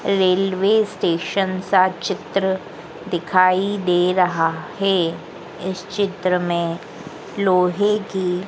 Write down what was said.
railway station का चित्र दिखाई दे रहा है इस चित्र में लोहे की--